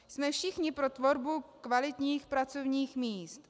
Jsme všichni pro tvorbu kvalitních pracovních míst.